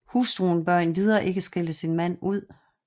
Hustruen bør endvidere ikke skælde sin mand ud